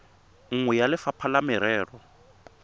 nngwe ya lefapha la merero